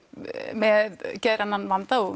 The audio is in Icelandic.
með geðrænan vanda og